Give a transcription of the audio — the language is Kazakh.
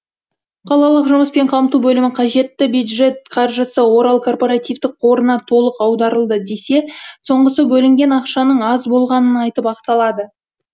қалалық жұмыспен қамту бөлімі қажетті бюджет қаржысы орал корпоративтік қорына толық аударылды десе соңғысы бөлінген ақшаның аз болғанын айтып ақталады